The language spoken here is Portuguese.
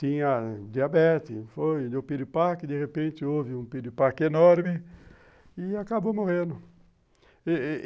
Tinha diabetes, foi, deu piripaque, de repente houve um piripaque enorme e acabou morrendo.